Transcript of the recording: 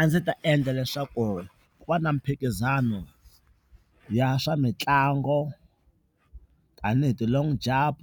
A ndzi ta endla leswaku ku va na miphikizano ya swa mitlangu, tani hi ti-long jump,